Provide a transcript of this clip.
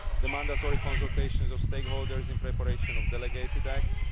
the mandatory consultation of stakeholders in preparation of delegated acts